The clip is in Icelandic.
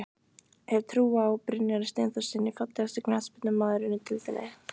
Hef trú á Brynjari Steinþórssyni Fallegasti knattspyrnumaðurinn í deildinni?